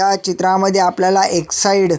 ह्या चित्रामध्ये आपल्याला एक्साइड --